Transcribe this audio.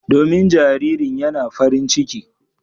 Domin jaririn yana farin ciki.